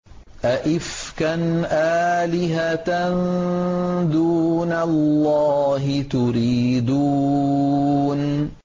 أَئِفْكًا آلِهَةً دُونَ اللَّهِ تُرِيدُونَ